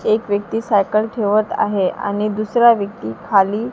एक व्यक्ती सायकल ठेवत आहे आणि दुसरा व्यक्ती खाली--